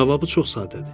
Cavabı çox sadədir.